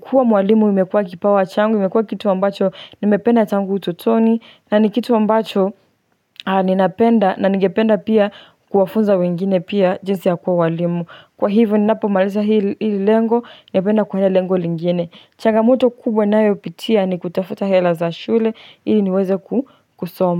kuwa mwalimu imekuwa kipawa changu, imekuwa kitu ambacho nimependa tangu utotoni. Na ni kitu ambacho ninapenda na ningependa pia kuwafunza wengine pia jinsi ya kuwa walimu. Kwa hivyo ninapomaliza hili lengo, napenda kuenda lengo lingine changamoto kubwa ninayopitia, ni kutafuta hela za shule ili niweze kusoma.